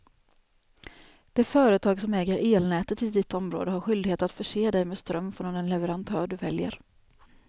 Det företag som äger elnätet i ditt område har skyldighet att förse dig med ström från den leverantör du väljer.